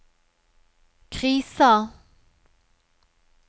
krisa